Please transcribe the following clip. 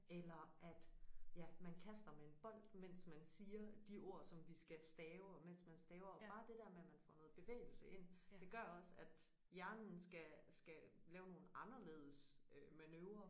Eller at ja man kaster med en bold mens man siger de ord som vi skal skal stave og mens man staver og bare det der med man får noget bevægelse ind det gør også at hjernen skal skal lave nogle anderledes øh manøvrer